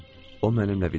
O mənimlə vidalaşdı.